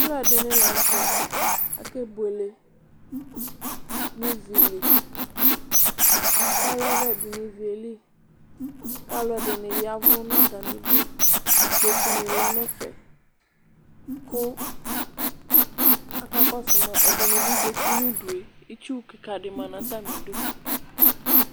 Alʋɛdini lanʋtɛ ake buele nʋ ivili aka yavɛ nʋ ivi yɛli kʋ alʋɛdini ya ɛvʋ nʋ atami idʋ ikpokʋ ni lɛ nʋ ɛfɛ kʋ akakɔsʋ ma ɛdini bi zati nʋ ʋdʋe kʋ itsu kika di manʋ atami idʋ